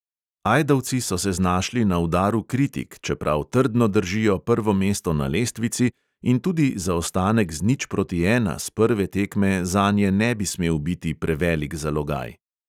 Ajdovci so se znašli na udaru kritik, čeprav trdno držijo prvo mesto na lestvici in tudi zaostanek z nič proti ena s prve tekme zanje ne bi smel biti prevelik zalogaj.